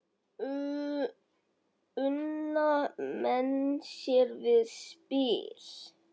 Una menn sér við spil.